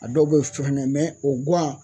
A dɔw bɛ o guwan